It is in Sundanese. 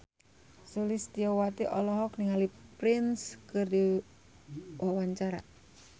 Sulistyowati olohok ningali Prince keur diwawancara